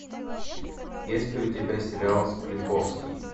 есть ли у тебя сериал склифосовский